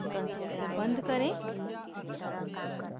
console को बंद करें